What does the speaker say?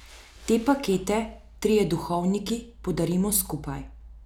Te pakete trije duhovniki podarimo skupaj.